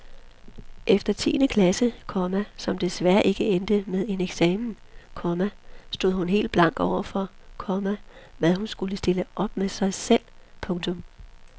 Efter tiende klasse, komma som desværre ikke endte med en eksamen, komma stod hun helt blank overfor, komma hvad hun skulle stille op med sig selv. punktum